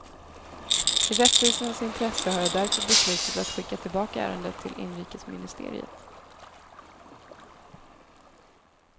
I rättvisans intresse har jag därför beslutat att skicka tillbaka ärendet till inrikesministeriet.